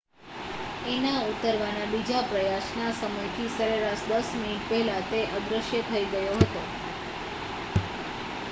એના ઉતારવાના બીજા પ્રયાસના સમયથી સરેરાશ દસ મિનિટ પહેલાં તે અદૃશ્ય થઈ ગયો હતો